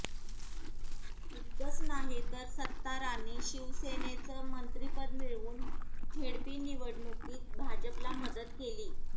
इतकंच नाहीतर सत्तारांनी शिवसेनेचं मंत्रिपद मिळवून झेडपी निवडणुकीत भाजपला मदत केली